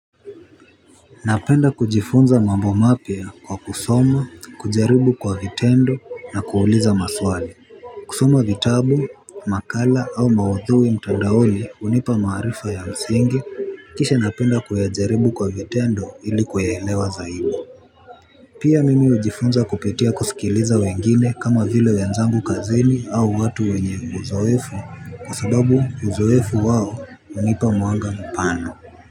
Napenda kujifunza mambo mapya kwa kusoma, kujaribu kwa vitendo na kuuliza maswali. Kusoma vitabu, makala au maudhui mtandaoli unipa maarifa ya msingi kisha napenda kuyajaribu kwa vitendo ili kuyaelewa zaidi. Pia mimi ujifunza kupitia kusikiliza wengine kama vile wenzangu kazini au watu wenye uzoefu kwa sababu uzoefu wao unipa mwanga mpana.